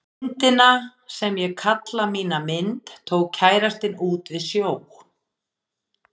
Myndina sem ég kalla mína mynd tók kærastinn út við sjó.